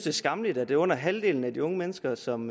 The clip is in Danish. er skammeligt at det er under halvdelen af de unge mennesker som